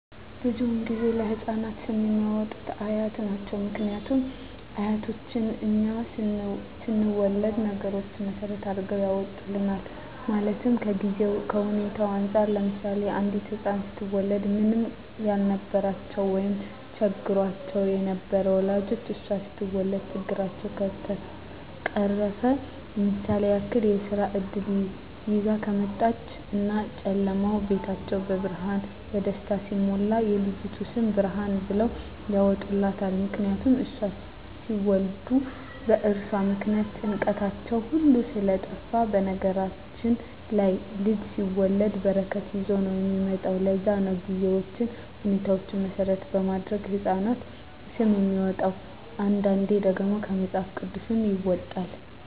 ብዙዉን ጊዜ ለህፃናት ስም የሚያወጡት አያት ናቸዉ ምክንያቱም አያቶቻችን እኛ ስንወለድ ነገሮች መሰረት አድርገዉ ያወጡልናል ማለትም ከጊዜዉ ከሁኔታዉ እንፃር ለምሳሌ አንዲት ህፃን ስትወለድ ምንም ያልነበራቸዉ ወይም ቸግሯቸዉ የነበሩ ወላጆቿ እሷ ስትወለድ ችግራቸዉ ከተፈቀረፈ ለምሳሌ ያክል የስራ እድል ይዛ ከመጣች እና ጨለማዉ ቤታቸዉ በብርሃን በደስታ ሲሞላ የልጅቱ ስም ብርሃን ብለዉ ያወጡላታል ምክንያቱም እሷን ሲወልዱ በእርሷ ምክንያት ጭንቀታቸዉ ሁሉ ስለጠፍ በነገራችን ላይ ልጅ ሲወለድ በረከት ይዞ ነዉ የሚመጣዉ ለዛ ነዉ ጊዜዎችን ሁኔታዎች መሰረት በማድረግ የህፃናት ስም የሚወጣዉ አንዳንዴ ደግሞ ከመፅሀፍ ቅዱስም ይወጣል